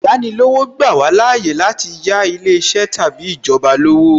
Īyáni lówó, ó ń gbà wá láàyè láti yà ilé iṣẹ́ tàbí ìjọba lówó